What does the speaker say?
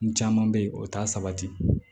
N caman bɛ yen o t'a sabati